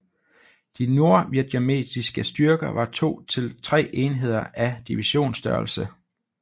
De nordvietnamesiske styrker var to til tre enheder af divisionsstørrelse